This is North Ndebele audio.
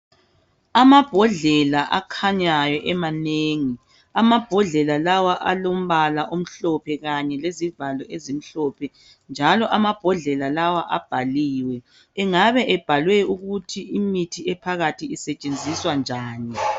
Amabhodlela akhanyayo emanengi .Amabhodlela lawa alombala omhlophe kanye lezivalo ezimhlophe njalo amabhodlela lawa abhaliwe engabe ebhalwe ukuthi imithi ephakathi isetshenziswa njani .